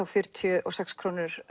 fjörutíu og sex króna